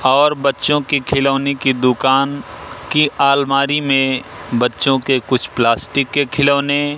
और बच्चों की खिलौने की दुकान की अलमारी में बच्चों के कुछ प्लास्टिक के खिलौने--